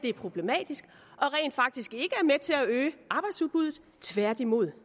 er problematisk og til at øge arbejdsudbuddet tværtimod